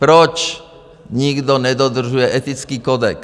Proč nikdo nedodržuje etický kodex?